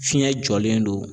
Fiɲɛ jɔlen don.